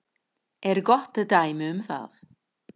er gott dæmi um það.